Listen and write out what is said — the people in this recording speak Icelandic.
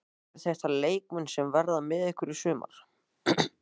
Eru þetta leikmenn sem verða með ykkur í sumar?